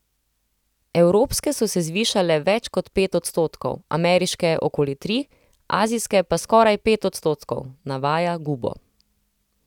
Evropske so se zvišale več kot pet odstotkov, ameriške okoli tri, azijske pa skoraj pet odstotkov, navaja Gubo.